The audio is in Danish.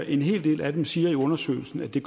en hel del af dem siger i undersøgelsen at det